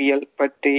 ~வியல் பற்றி